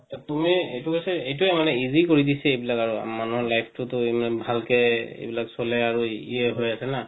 এটোয়ে মানে easy কৰি দিছে এইবিলাক আৰো মানুহৰ life টো তো ইমান ভালকে এইবিলাক চলে আৰো ইয়ে হই আছে না